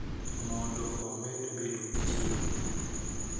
Mondo omed bedo gi chiemo.